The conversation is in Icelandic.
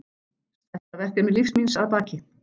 Stærsta verkefni lífs míns að baki.